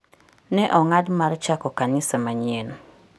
Ne ong'ado mar chako kanisa manyien.